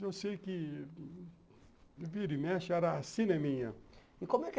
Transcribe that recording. Eu sei que o vira e mexe era a cineminha. E como é